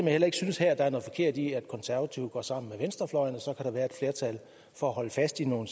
heller ikke synes der er noget forkert i at de konservative her går sammen med venstrefløjen og så kan være flertal for at holde fast i nogle